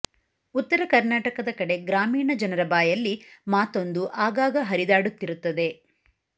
ಉತ್ತರ ಕರ್ನಾಟಕದ ಕಡೆ ಗ್ರಾಮೀಣ ಜನರ ಬಾಯಲ್ಲಿ ಮಾತೊಂದು ಆಗಾಗ ಹರಿದಾಡುತ್ತಿರುತ್ತದೆ